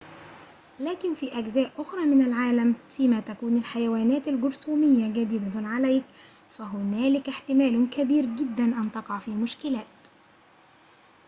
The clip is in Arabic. لكن في أجزاء أخرى من العالم فيما تكون الحيوانات الجرثومية جديدة عليك فهنالك احتمال كبير جداً أن تقع في مشكلات